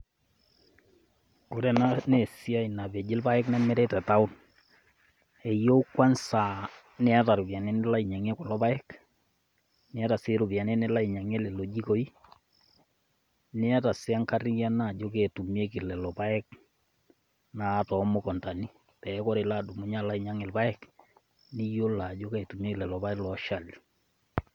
Ore enaa naa esiai napeji irpaek nemiri te town eyeu kwanza niata iropiani nilo ainyang'ie kulo paek niata sii iropiani nilo ainyang'ie lelo jikoi, niata sii enkariano ajo keji etumieki lelo paek naa too mukuntani pee oree idumunye alo ainyang'u irpaek niyiolo ajo kaji etumieki lelo paek oshali.